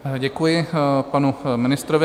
Děkuji panu ministrovi.